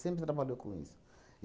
Sempre trabalhou com isso.